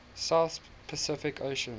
south pacific ocean